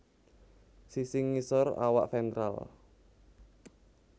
Sisi ngisor awak ventral